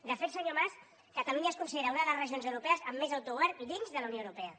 de fet senyor mas catalunya es considera una de les regions europees amb més autogovern i dins de la unió europea